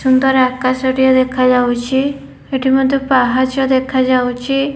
ସୁନ୍ଦର ଆକାଶ ଟିଏ ଦେଖାଯାଉଛି ଏଠି ମଧ୍ୟ ପାହଚ ମଧ୍ୟ ଦେଖାଯାଉଛି।